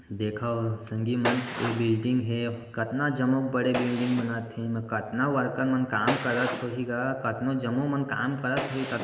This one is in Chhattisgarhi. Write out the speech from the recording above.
देखो सगिमान यह बिल्डिग हे कातना जम्मू बड़े बिल्डिग बनाथे कतनाउ वर्कर मन काम करात होइ कथनो जमी मन काम करात होइ तब--